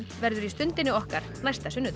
verður í Stundinni okkar næsta sunnudag